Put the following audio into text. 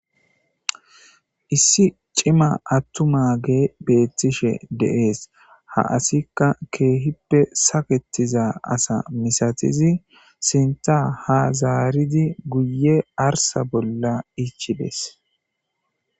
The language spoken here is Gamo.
issi cima attuma ge beettishe deees ha asikka keehippe saketiza asa misatizi sinta ha zaaridi guye arsa bolla ichides